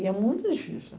E é muito difícil.